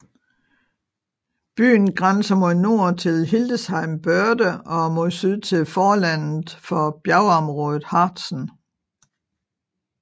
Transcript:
Byen grænser mod nord til Hildesheimer Börde og mod syd til forlandet for bjergområdet Harzen